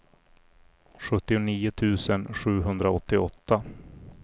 sjuttionio tusen sjuhundraåttioåtta